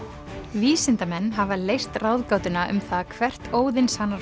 vísindamenn hafa leyst ráðgátuna um það hvert